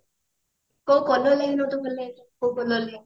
କୋଉ color ଲାଗିବ ମତେ ଭଲ କୋଉ color